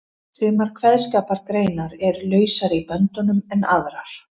Sumar kveðskapargreinar eru lausari í böndunum en aðrar.